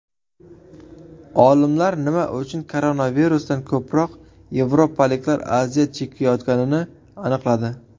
Olimlar nima uchun koronavirusdan ko‘proq yevropaliklar aziyat chekayotganini aniqladi.